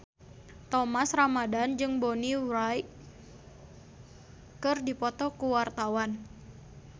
Thomas Ramdhan jeung Bonnie Wright keur dipoto ku wartawan